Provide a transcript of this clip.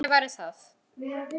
Hvernig væri það?